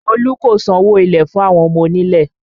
Olu kò sanwó ilẹ̀ fún àwọn ọmọ onílẹ̀